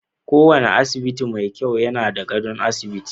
Kowane asibiti mai kyau yana da gadon asibiti.